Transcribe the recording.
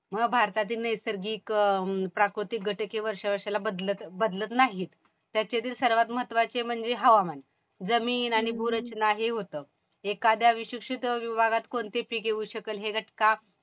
भारतातील नैसर्गिक प्राकृतिक घटक हे वर्षावर्षाला बदलत नाहीत. त्याच्यातील सर्वात महत्वाचे म्हणजे हवामान. जमीन आणि भूरचना हे होत. एखाद्या विशिष्ट विभागात कोणतं पीक येऊ शकेल हे घटका